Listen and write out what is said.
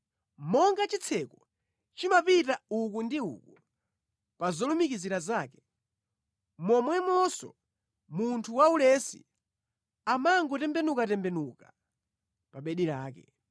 Monga chitseko chimapita uku ndi uku pa zolumikizira zake, momwemonso munthu waulesi amangotembenukatembenuka pa bedi lake.